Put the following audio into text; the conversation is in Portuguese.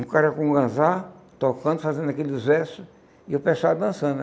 Um cara com um ganzá, tocando, fazendo aqueles versos, e o pessoal dançando.